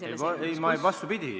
Ei, vastupidi!